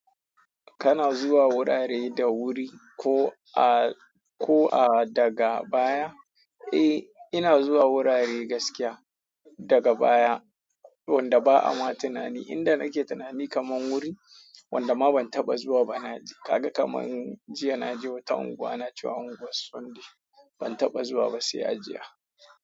Kana zuwa wurare da wuri ko a, ko a daga baya? Eh, ina zuwa wurare gaskiya daga baya wanda ba ama tunani. Inda nake tunani kaman wuri wanda ma ban taɓa zuwa ba na je. Kaga kaman jiya na je wata unguwa na cewa unguwar Sunday. Ban taɓa zuwa ba sai a jiya.